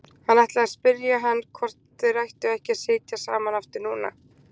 Hann ætlaði að spyrja hann hvort þeir ættu ekki að sitja saman aftur núna.